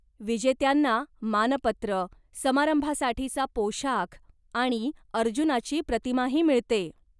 विजेत्यांना मानपत्र, समारंभासाठीचा पोशाख आणि अर्जुनाची प्रतिमाही मिळते.